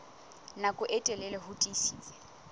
nako e telele ho tiisitse